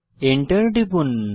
enter টিপুন